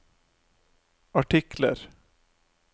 artikler